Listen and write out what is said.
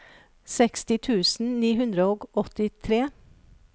seksti tusen ni hundre og åttitre